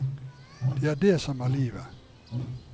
Det er det som er livet.